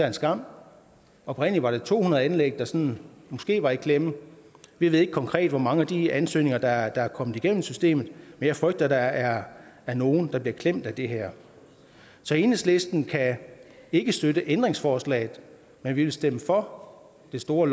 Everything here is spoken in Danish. en skam oprindelig var det to hundrede anlæg der sådan måske var i klemme vi ved ikke konkret hvor mange af de ansøgninger der er kommet igennem systemet men jeg frygter at der er er nogle som bliver klemt af det her så enhedslisten kan ikke støtte ændringsforslagene men vi vil stemme for det store